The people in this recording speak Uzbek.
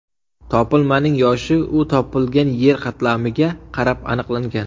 Topilmaning yoshi u topilgan yer qatlamiga qarab aniqlangan.